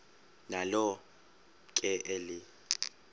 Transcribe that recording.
nalo ke eli